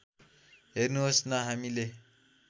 हेर्नुहोस् न हामीले